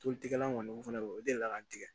Tolikɛla kɔni o fɛnɛ o delila ka n tigɛ